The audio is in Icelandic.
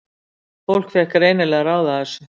Fólk fékk greinilega að ráða þessu.